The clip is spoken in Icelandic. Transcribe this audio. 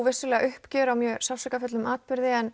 vissulega uppgjör á mjög sársaukafullum atburði en